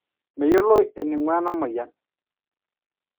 meyioloi enaingua enamoyian